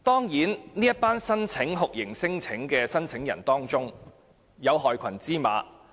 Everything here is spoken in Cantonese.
在酷刑聲請者中，當然會有害群之馬。